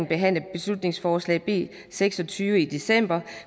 behandle beslutningsforslag b seks og tyve i december